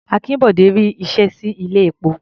Akínbọ̀dé ri iṣẹ́ sí ilé-epo.